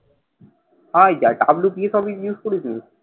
ওই যা WPS office use করেছিস নি।